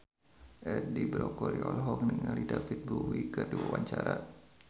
Edi Brokoli olohok ningali David Bowie keur diwawancara